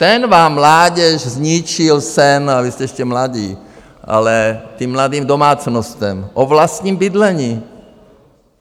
Ten vám, mládeži, zničil sen - a vy jste ještě mladí -- ale těm mladým domácnostem, o vlastním bydlení.